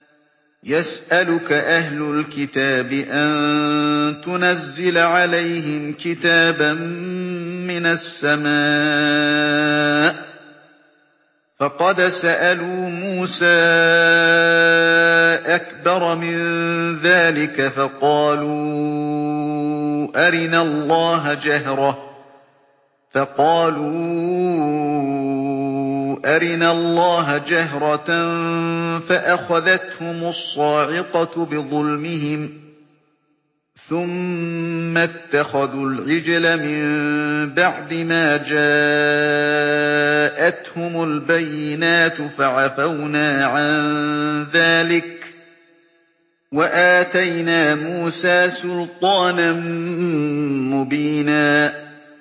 يَسْأَلُكَ أَهْلُ الْكِتَابِ أَن تُنَزِّلَ عَلَيْهِمْ كِتَابًا مِّنَ السَّمَاءِ ۚ فَقَدْ سَأَلُوا مُوسَىٰ أَكْبَرَ مِن ذَٰلِكَ فَقَالُوا أَرِنَا اللَّهَ جَهْرَةً فَأَخَذَتْهُمُ الصَّاعِقَةُ بِظُلْمِهِمْ ۚ ثُمَّ اتَّخَذُوا الْعِجْلَ مِن بَعْدِ مَا جَاءَتْهُمُ الْبَيِّنَاتُ فَعَفَوْنَا عَن ذَٰلِكَ ۚ وَآتَيْنَا مُوسَىٰ سُلْطَانًا مُّبِينًا